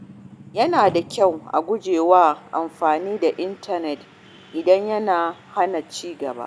Yana da kyau a guji yawan amfani da intanet idan yana hana ci gaba.